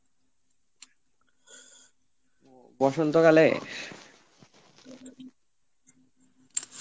বসন্ত কালে?